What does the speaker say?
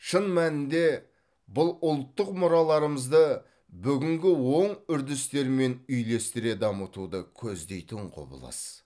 шын мәнінде бұл ұлттық мұраларымызды бүгінгі оң үрдістермен үйлестіре дамытуды көздейтін құбылыс